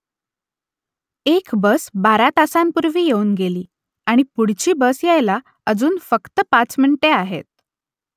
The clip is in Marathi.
एक बस बारा तासांपूर्वी येऊन गेली आणि पुढची बस यायला अजून फक्त पाच मिनिटे आहेत